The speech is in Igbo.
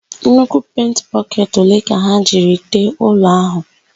Nnukwu penti bọketị ole ka ha jiri tee ụlọ áhụ̀?